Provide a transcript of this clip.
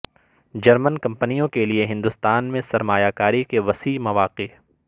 German کمپنیوں کے لئے ہندوستان میں سرمایہ کاری کے وسیع مواقع